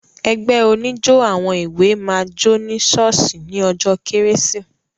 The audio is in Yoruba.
Ẹgbẹ́ oníjó àwọn èwé máa jó ní ṣọ́ọ́ṣì ní ọjọ́ kérésì.